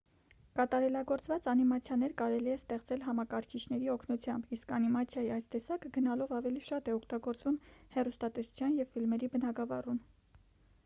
կատարելագործված անիմացիաներ կարելի է ստեղծել համակարգիչների օգնությամբ իսկ անիմացիայի այս տեսակը գնալով ավելի շատ է օգտագործվում հեռուստատեսության ու ֆիլմերի բնագավառում